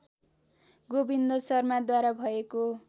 गोविन्द शर्माद्वारा भएको